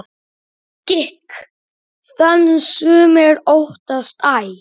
Gikk þann sumir óttast æ.